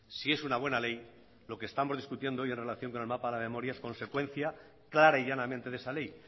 si es una buena ley lo que estamos discutiendo hoy en relación con el mapa de la memoria es consecuencia clara y llanamente de esa ley